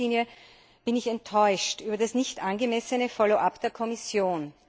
14. Richtlinie bin ich enttäuscht über das nicht angemessene Follow up der Kommission.